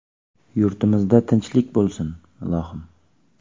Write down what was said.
Yurtimizda tinchlik bo‘lsin, ilohim.